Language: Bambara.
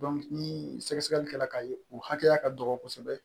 ni sɛgɛsɛgɛli kɛla ka ye u hakɛya ka dɔgɔ kosɛbɛ